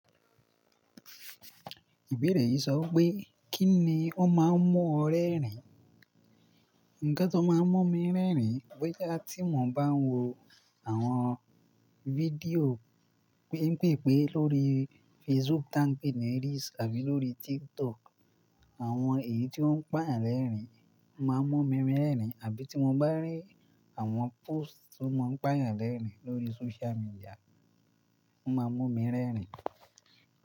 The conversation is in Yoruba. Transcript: Ìbéèrè yìí sọ pé kí ni ó máa ń mú ọ rẹ́rìn? Nǹkan tó máa ń mú mi rẹ́rìn bóyá tí mo bá ń wo àwọn fídíò pín pín pín lórí Facebook tàbí ní Reels àbí lórí TikTok. Àwọn èyí tí ó ń pàrọ̀ lẹ́rìn máa ń mú mi rẹ́rìn àbí tí mo bá rí àwọn post tí ó máa ń pàrọ̀ lẹ́rìn lórí social media, o máa mú mi rẹ́rìn.